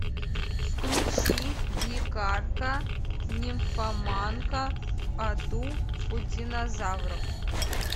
включи дикарка нимфоманка в аду у динозавров